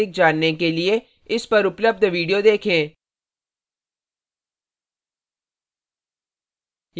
इस पर उपलब्ध video देखें